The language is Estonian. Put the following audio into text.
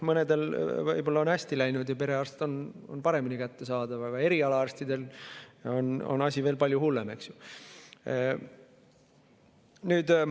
Mõnel on võib-olla hästi läinud ja perearst on paremini kättesaadav, aga eriarstidega on asi veel palju hullem.